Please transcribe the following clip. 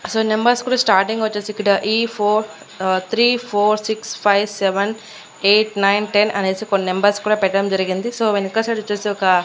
So numbers కూడా starting వచ్చేసి ఈ four uh three four six five seven eight nine ten అనేసి కొన్ని నెంబర్స్ కూడా పెట్టడం జరిగింది సో వెనక సైడ్ వచ్చేసి ఒక.